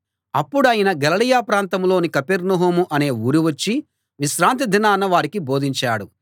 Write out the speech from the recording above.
అప్పుడాయన గలిలయ ప్రాంతంలోని కపెర్నహూము అనే ఊరు వచ్చి విశ్రాంతి దినాన వారికి బోధించాడు